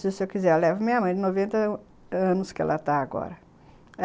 Se o senhor quiser, eu levo minha mãe de noventa anos que ela está agora.